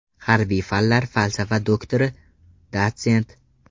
Harbiy fanlar falsafa doktori, dotsent.